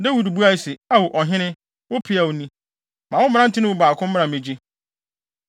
Dawid buae se, “Ao, ɔhene, wo peaw ni. Ma wo mmerante no mu baako mmra mmegye.